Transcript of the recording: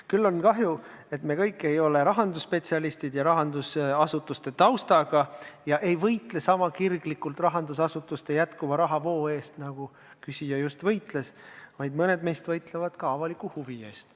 Küll on kahju, et me kõik ei ole rahandusspetsialistid ja rahandusasutuste taustaga ega võitle sama kirglikult rahandusasutuste jätkuva rahavoo eest, nagu küsija just võitles, vaid mõned meist võitlevad ka avaliku huvi eest.